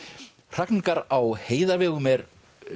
hrakningar á heiðavegum er